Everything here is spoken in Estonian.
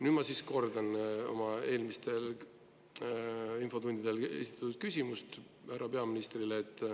Nüüd ma siis kordan oma eelmistel infotundidel esitatud küsimust härra peaministrile.